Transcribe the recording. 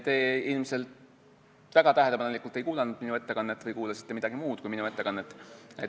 Te ilmselt ei kuulanud minu ettekannet väga tähelepanelikult või kuulasite midagi muud kui minu ettekannet.